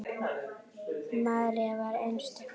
María var einstök kona.